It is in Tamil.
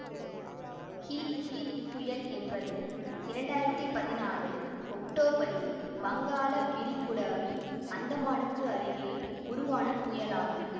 ஹீத் ஹீத் புயல் என்பது இரண்டாயிரத்தி பதினாலு ஒக்டோபரில் வங்காள விரிகுடாவில் அந்தமானுக்கு அருகே உருவான புயலாகும்